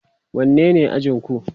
wanne ne ajinku?